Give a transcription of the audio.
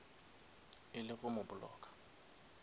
e le go mo blocka